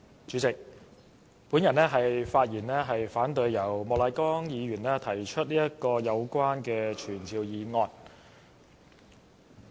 主席，我發言反對莫乃光議員提出有關的傳召議案。